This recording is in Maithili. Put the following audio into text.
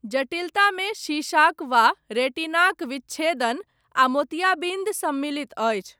जटिलतामे शीशाक वा रेटिनाक विच्छेदन, आ मोतियाबिन्द सम्मिलित अछि।